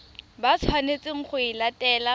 ba tshwanetseng go e latela